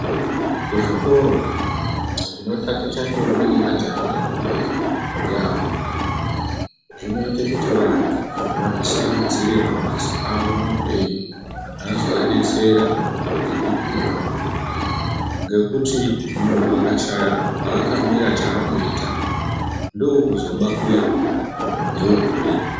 Kuzvikora zvinotaticha ndombi ne majaha akura yaampho, zvinoite kuti anthu azvikhetere mishando yawo mukupona anozoadetsera ngekukura. Ngekuti munthu akatame chaanoita paakaema, ndoo kuzoba kuya neuhule.